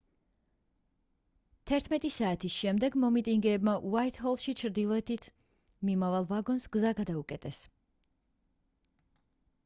11:00 საათის შემდეგ მომიტინგეებმა უაიტჰოლში ჩრდილოეთით მიმავალ ვაგონს გზა გადაუკეტეს